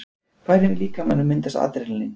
Hvar í líkamanum myndast Adrenalín?